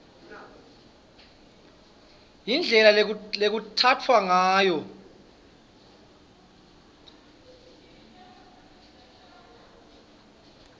indlela lekutsatfwa ngayo